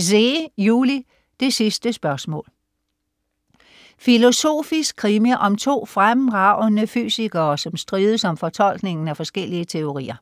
Zeh, Juli: Det sidste spørgsmål Filosofisk krimi om to fremragende fysikere, som strides om fortolkningen af forskellige teorier.